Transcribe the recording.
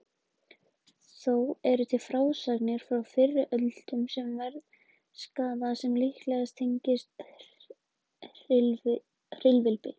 Þó eru til frásagnir frá fyrri öldum um veðurskaða sem líklega tengist hvirfilbyljum.